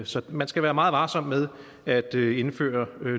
så man skal være meget varsom med at indføre